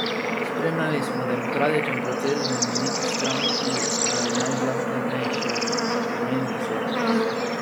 Spremljali smo demokratičen proces v neki stranki v najžlahtnejšem pomenu besede.